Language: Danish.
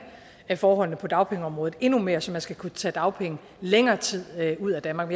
forholdene på dagpengeområdet endnu mere så man skal kunne tage dagpenge længere tid ud af danmark